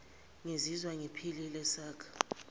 ngizizwa ngiphile saka